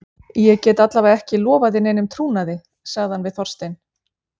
Ég get alla vega ekki lofað þér neinum trúnaði- sagði hann við Þorstein.